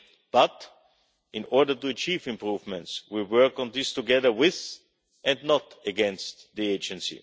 But, in order to achieve improvements, we will work on this together with and not against the agency.